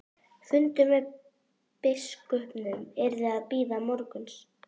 Fundur með biskupnum yrði að bíða morguns.